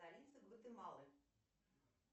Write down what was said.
столица гватемалы